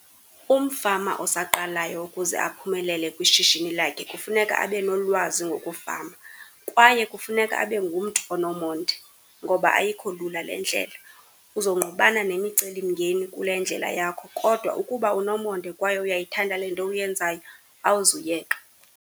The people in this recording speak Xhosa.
Umfama osaqalaya ukuze aphumelele kwishishini lakhe kufuneka abe nolwazi ngokufama, kwaye kufuneka abe ngumntu onomonde ngoba ayikho lula le ndlela. Uzongqubana nemiceli mngeni kule ndlela yakho kodwa ukuba unomonde, kwaye uyayithanda le nto uyenzayo awuzuyeka.